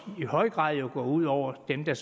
i høj grad går ud over dem der